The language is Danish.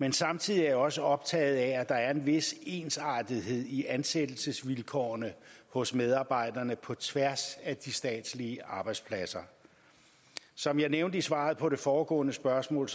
men samtidig er jeg også optaget af at der er en vis ensartethed i ansættelsesvilkårene hos medarbejderne på tværs af de statslige arbejdspladser som jeg nævnte i svaret på det foregående spørgsmål